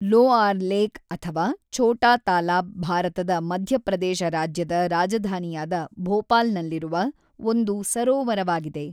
Lower lake ಅಥವಾ ಛೋಟಾ ತಾಲಾಬ್ ಭಾರತದ ಮಧ್ಯಪ್ರದೇಶ ರಾಜ್ಯದ ರಾಜಧಾನಿಯಾದ ಭೋಪಾಲ್‌ನಲ್ಲಿರುವ ಒಂದು ಸರೋವರವಾಗಿದೆ.